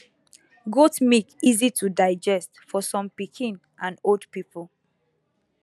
goat milk easy to digest for some pikin and old people